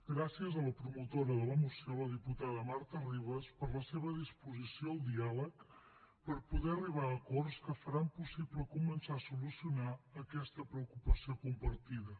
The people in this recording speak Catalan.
gràcies a la promotora de la moció la diputada marta ribas per la seva disposició al diàleg per poder arribar a acords que faran possible començar a solucionar aquesta preocupació compartida